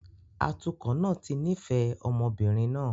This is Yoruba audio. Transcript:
Atukọ̀ náà ti nífẹ̀ẹ́ ọmọ obìnrin náà